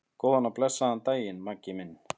Góðan og blessaðan daginn, Maggi minn.